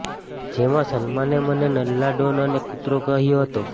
જેમાં સલમાને મને નલ્લા ડોન અને કૂતરો કહ્યો હતો